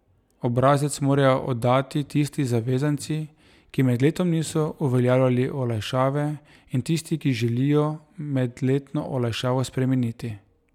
Obrazec morajo oddati tisti zavezanci, ki med letom niso uveljavljali olajšave, in tisti, ki želijo medletno olajšavo spremeniti.